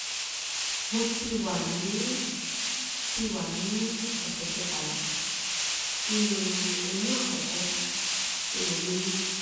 mo ti wà ní ti wà ní ọ̀sẹ̀ kẹtàlá nínú oyún àkọ́kọ́ tí mo lóyún